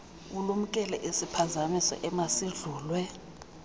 ulumkele isiphazamiso emasidlulwe